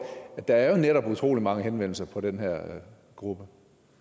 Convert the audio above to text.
at der jo netop er utrolig mange henvendelser fra den her gruppe